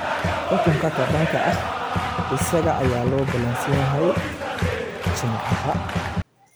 Xukunka ka dhanka ah isaga ayaa loo ballansan yahay Jimcaha.